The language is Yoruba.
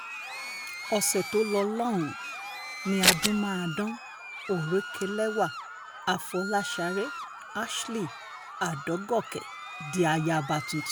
ọ̀sẹ̀ tó lò lọ́hùn-ún ni adúmáàdán òrékelẹ́wà afọlásáré ashley adọ́gọ́kẹ́ di ayaba tuntun